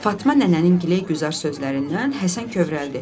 Fatma nənənin giləy-güzar sözlərindən Həsən kövrəldi.